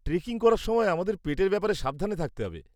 Trekking করার সময় আমাদের পেটের ব্যাপারে সাবধান থাকতে হবে।